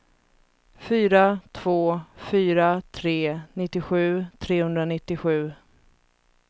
fyra två fyra tre nittiosju trehundranittiosju